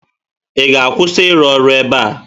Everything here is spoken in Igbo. Ị ga-akwụsị ịrụ ọrụ ebe a?